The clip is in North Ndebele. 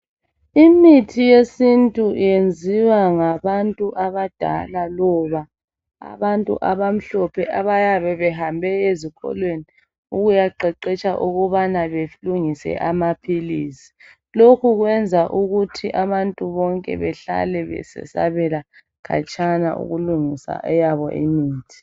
Imithi yesintu yenziwa ngabantu abadala loba abantu abamhlophe abayabe behambe ezikolweni ukuyaqeqetsha ukubana belungise amaphilisi. Lokhu kwenza ukuthi abantu bonke behlale besesabela khatshana ukulungisa eyabo imithi.